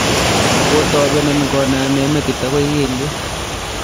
kotobenon kooname metit agoi kelyek